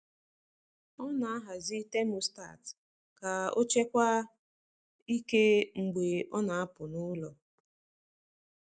O na-ahazi thermostat ka o chekwaa ike mgbe ọ na-apụ n'ụlọ.